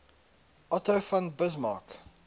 otto von bismarck